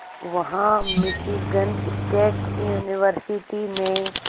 वहां Michigan state university में